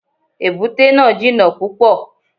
Èbúté náà jìnà púpọ̀.